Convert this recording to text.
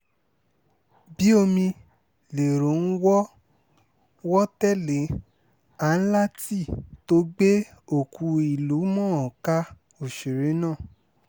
bíi omi lèrò ń wọ́ wọ́ tẹ́lẹ̀ áńláńtì tó gbé òkú ìlú-mọ̀-ọ́n-kà òṣèré náà